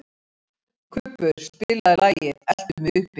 Kubbur, spilaðu lagið „Eltu mig uppi“.